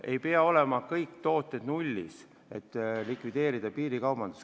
Ei pea olema kõik tooted n-ö nullis, et piirikaubandust likvideerida.